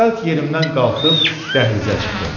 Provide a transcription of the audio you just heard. Cəld yerimdən qalxıb dəhlizə çıxdım.